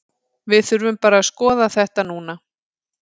Við þurfum bara að skoða þetta núna.